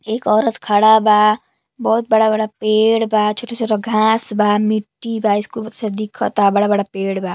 एक औरत खड़ा बा बहुत बड़ा-बड़ा पेड़ बा छोटा-छोटा घाँस बा मिट्टी बा दिखता बड़ा-बड़ा पेड़ बा।